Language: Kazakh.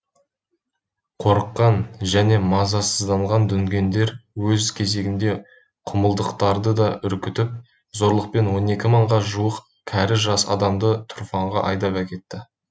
қорыққан және мазасызданған дүнгендер өз кезегінде құмылдықтарды да үркітіп зорлықпен он екі мыңға жуық кәрі жас адамдарды тұрфанға айдап әкетті